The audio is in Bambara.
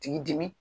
K'i dimi